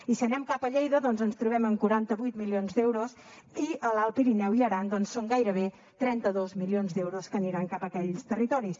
i si anem cap a lleida doncs ens trobem amb quaranta vuit milions d’euros i a l’alt pirineu i aran són gairebé trenta dos milions d’euros que aniran cap a aquells territoris